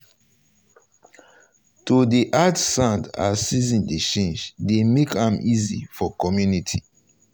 um to dey add sand as season dey change dey make um am easy for community.